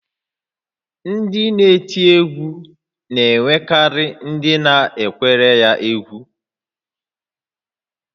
Ndị na-eti egwu na-enwekarị ndị na-ekwere ha egwú